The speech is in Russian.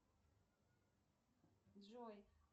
джой